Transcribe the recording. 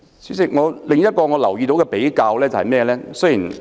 主席，另一個我留意到的比較是甚麼？